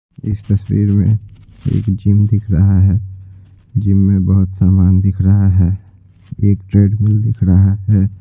इस तस्वीर में एक जिम दिख रहा है जिम में बहुत सामान दिख रहा है एक ट्रेडमिल दिख रहा है।